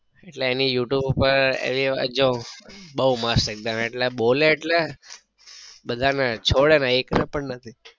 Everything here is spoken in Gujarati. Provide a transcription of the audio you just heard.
એટલે એની you tube પર રીલ જોઉં બઉ મસ્ત એકદમ એટલે બોલે એટલે બધા ને છોડે ના એક ને પણ નથી